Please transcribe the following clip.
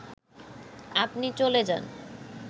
আপনি চলে যান